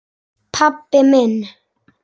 Pabbi minn?